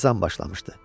Xəzan başlamışdı.